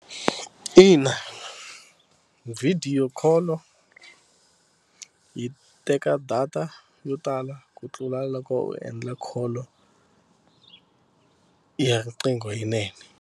Ina video call-o yi teka data yo tala ku tlula loko u endla call ya riqingho yinene.